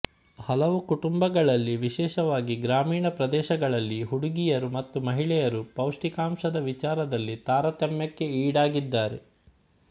ಹಲವು ಕುಟುಂಬಗಳಲ್ಲಿ ವಿಶೇಷವಾಗಿ ಗ್ರಾಮೀಣ ಪ್ರದೇಶಗಳಲ್ಲಿ ಹುಡುಗಿಯರು ಮತ್ತು ಮಹಿಳೆಯರು ಪೌಷ್ಟಿಕಾಂಶದ ವಿಚಾರದಲ್ಲಿ ತಾರತಮ್ಯಕ್ಕೆ ಈಡಾಗಿದ್ದಾರೆ